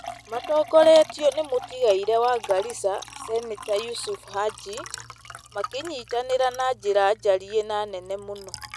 matongoretio nĩ mũtigairĩ wa Garissa, Seneta Yusuf Haji, makĩnyitanĩra na njĩra njarie na nene mũno,